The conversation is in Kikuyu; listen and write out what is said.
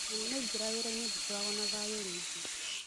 Mũnene aingĩra wĩra-inĩ ndikoragwo na thayũ rĩngĩ.